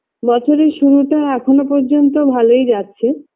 বছরের শুরুটা এখনও পর্যন্ত ভালোই যাচ্ছে